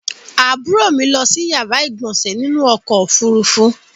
Àbúrò mi lọ si yàrá ìgbọ̀nsè nínú ọkò òfurufú.